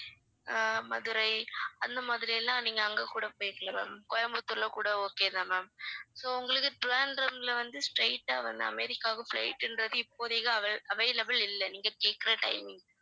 அஹ் மதுரை அந்த மாதிரி எல்லாம் நீங்க அங்க கூட போயிக்கலாம் ma'am கோயம்புத்தூர்ல கூட okay தான் ma'am so உங்களுக்கு திருவனந்தபுரம்ல வந்து straight ஆ வந்து அமெரிக்காவுக்கு flight ன்றது இப்போதைக்கு avail~ available இல்ல நீங்க கேக்குற timing க்கு